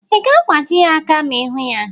Ị ga-agbaji ya aka ma ịhụ ya?